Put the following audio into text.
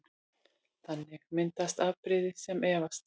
Þannig myndast afbrigði sem erfast